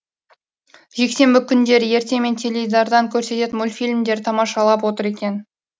жексенбі күндері ертемен теледидардан көрсететін мультфильмдер тамашалап отыр екен